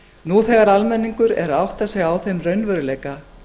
nú þegar almenningur er að átta sig á þeim raunveruleika